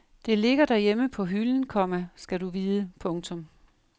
Det ligger derhjemme på hylden, komma skal du vide. punktum